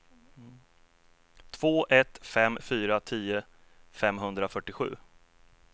två ett fem fyra tio femhundrafyrtiosju